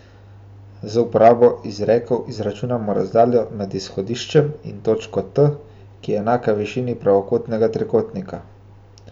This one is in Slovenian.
Z uporabo izrekov izračunamo razdaljo med izhodiščem in točko T, ki je enaka višini pravokotnega trikotnika.